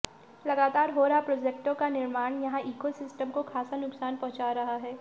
लगातार हो रहा प्रोजेक्टों का निर्माण यहां ईको सिस्टम को खासा नुकसान पहुंचा रहा है